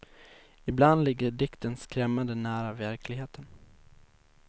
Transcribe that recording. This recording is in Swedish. Ibland ligger dikten skrämmande nära verkligheten.